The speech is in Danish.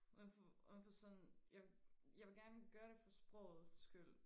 uden for uden for sådan jeg jeg vil gerne gøre det for sprogets skyld